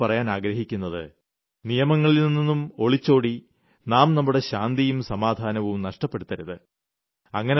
എന്നാൽ ഞാൻ നിങ്ങളോട് പറയാൻ ആഗ്രഹിക്കുന്നത് നിയമങ്ങളിൽനിന്നും ഒളിച്ചോടി നാം നമ്മുടെ ശാന്തിയും സമാധാനവും നഷ്ടപ്പെടുത്തരുത്